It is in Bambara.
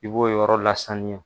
I b'o yɔrɔ lasanya.